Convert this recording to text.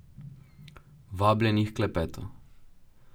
Vabljeni h klepetu!